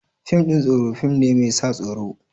Fim ɗin tsoro fim ne mai sa tsoro.